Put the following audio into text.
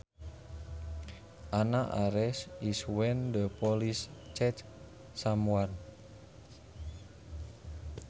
An arrest is when the police catch someone